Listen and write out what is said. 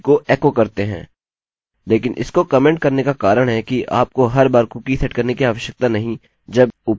लेकिन इसको कमेन्ट करने का कारण है कि आपको हर बार कुकी सेट करने की आवश्यकता नहीं जब उपयोगकर्ता पेज पर आता है